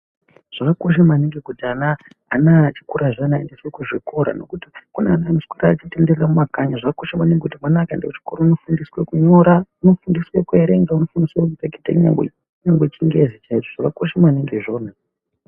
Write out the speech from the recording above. Zvakakosha maningi kuti ana ,ana echokora aendeswe kuzvikora nekuti kune ana anoswera eitenderere mumakanyi. Zvakakosha maningi ,mwana akaenda kuchikora unofundiswa kunyora, unofundiswa kuerenga ,unofundiswa kureketa kunyangwe chingezi chaicho. Zvakakosha maningi izvozvo.